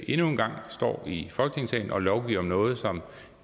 endnu en gang står i folketingssalen og lovgiver om noget som